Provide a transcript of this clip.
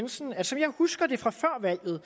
jensen at som jeg husker det fra før valget